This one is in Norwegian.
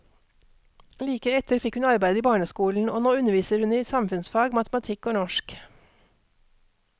Like etter fikk hun arbeid i barneskolen, og nå underviser hun i samfunnsfag, matematikk og norsk.